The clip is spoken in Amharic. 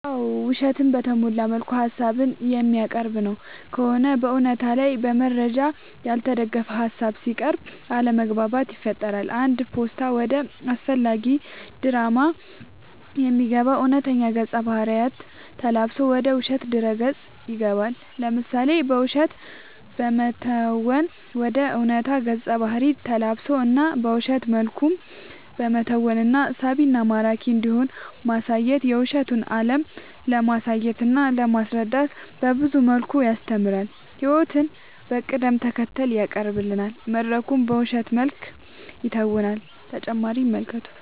አዎ ውሸትን በተሞላ መልኩ ሀሳብን የሚያቀርብ ነው ከሆነ በእውነታ ላይ በመረጃ ያልተደገፈ ሀሳብ ሲያቅርብ አለማግባባት ይፈጥራል አንድ ፓስታ ወደ አላስፈላጊ ድራማ የሚገባው እውነተኛ ገፀ ባህርይ ተላብሶ ወደ ውሸት ድረ ገፅ ይገባል። ለምሳሌ በውሸት በመተወን ወደ ዕውነታ ገፀ ባህሪ ተላብሶ እና በውሸት መልኩም በመተወን እና ሳቢና ማራኪ እንዲሆን ማሳየት የውሸቱን አለም ለማሳየትና ለማስረዳት በብዙ መልኩ ያስተምራል ህይወቱን በቅደም ተከተል ያቀናብራል መድረኩን በውሸት መልክ ይተውናል።…ተጨማሪ ይመልከቱ